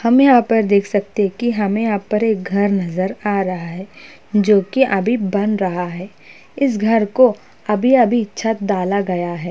हम यहाँ पर देख सकते है की हमें यहाँ पर एक घर नजर आ रहा है जोकि अभी बन रहा है इस घर को अभी अभी छत डाला गया है।